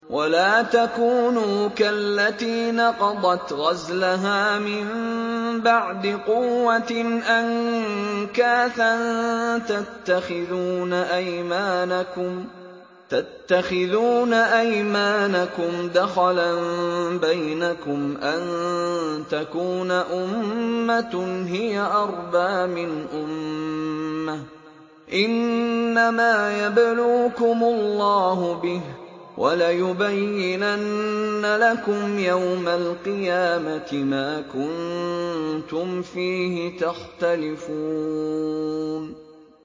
وَلَا تَكُونُوا كَالَّتِي نَقَضَتْ غَزْلَهَا مِن بَعْدِ قُوَّةٍ أَنكَاثًا تَتَّخِذُونَ أَيْمَانَكُمْ دَخَلًا بَيْنَكُمْ أَن تَكُونَ أُمَّةٌ هِيَ أَرْبَىٰ مِنْ أُمَّةٍ ۚ إِنَّمَا يَبْلُوكُمُ اللَّهُ بِهِ ۚ وَلَيُبَيِّنَنَّ لَكُمْ يَوْمَ الْقِيَامَةِ مَا كُنتُمْ فِيهِ تَخْتَلِفُونَ